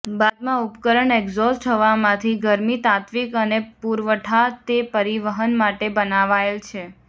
બાદમાં ઉપકરણ એક્ઝોસ્ટ હવા માંથી ગરમી તાત્વિક અને પુરવઠા તે પરિવહન માટે બનાવાયેલ છે